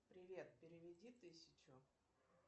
привет переведи тысячу